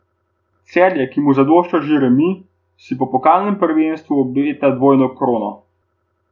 Celje, ki mu zadošča že remi, si po pokalnem naslovu obeta dvojno krono.